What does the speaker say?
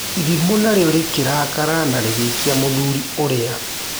Irimũ narĩo rĩkĩrakara na rĩgĩikia mũthuri ũrĩa.